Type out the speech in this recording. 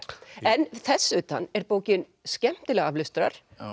en þess utan er bókin skemmtileg aflestrar